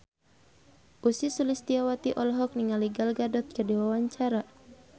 Ussy Sulistyawati olohok ningali Gal Gadot keur diwawancara